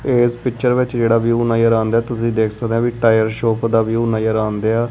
ਇਸ ਪਿਕਚਰ ਵਿੱਚ ਜਿਹੜਾ ਵਿਊ ਨਜ਼ਰ ਆਂਦੇਆ ਤੁਸੀਂ ਦੇਖ ਸਕਦੇ ਆ ਵਈ ਟਾਇਰ ਸ਼ੌਪ ਦਾ ਵਿਊ ਨਜ਼ਰ ਆਂਦੇਆ।